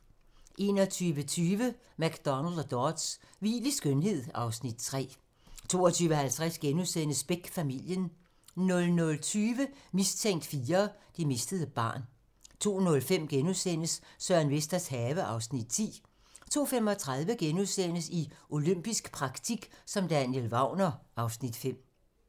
21:20: McDonald og Dodds: Hvil i skønhed (Afs. 3) 22:50: Beck: Familien * 00:20: Mistænkt IV: Det mistede barn 02:05: Søren Vesters have (Afs. 10)* 02:35: I olympisk praktik som Daniel Wagner (Afs. 5)*